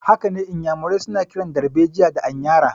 Hakane, Inyamurai suna kiran darbejiya da anyara.